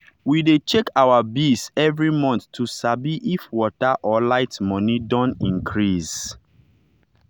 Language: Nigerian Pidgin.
we dey check our bills every month to sabi if water or light money don increase.